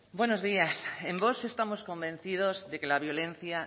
buenos días en vox estamos convencidos de que la violencia